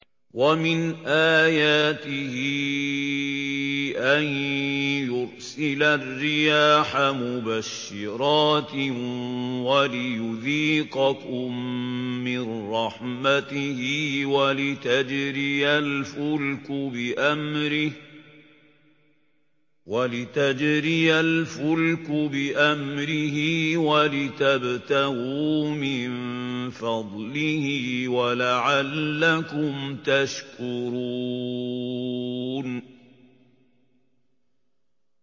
وَمِنْ آيَاتِهِ أَن يُرْسِلَ الرِّيَاحَ مُبَشِّرَاتٍ وَلِيُذِيقَكُم مِّن رَّحْمَتِهِ وَلِتَجْرِيَ الْفُلْكُ بِأَمْرِهِ وَلِتَبْتَغُوا مِن فَضْلِهِ وَلَعَلَّكُمْ تَشْكُرُونَ